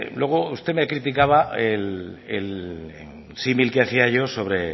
luego usted me criticaba el símil que hacía yo